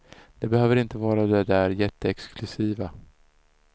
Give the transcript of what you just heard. Det behöver inte vara det där jätteexklusiva.